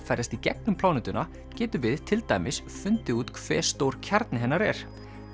ferðast í gegnum plánetuna getum við til dæmis fundið út hve stór kjarni hennar er